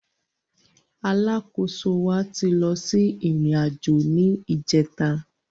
Alákóso wa ti lọ sí ìrìn àjò ni ìjẹta